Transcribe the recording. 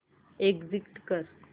exit कर